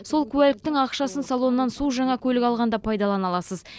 сол куәліктің ақшасын салоннан су жаңа көлік алғанда пайдалана аласыз